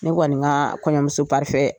Ne kɔni ka kɔɲɔmuso parifɛn